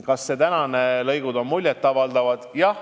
Kas need olemasolevad lõigud on muljet avaldavad?